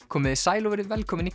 komiði sæl og verið velkomin í